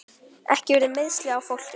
Ekki urðu meiðsli á fólki.